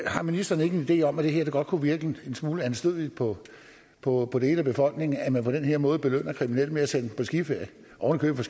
har ministeren ikke en idé om at det her godt kunne virke en smule anstødeligt på på dele af befolkningen at man på den her måde belønner kriminelle ved at sende dem på skiferie ovenikøbet